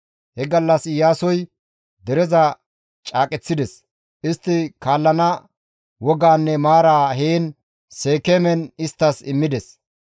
He gallas Iyaasoy dereza caaqeththides; istti kaallana wogaanne maara heen Seekeemen isttas immides.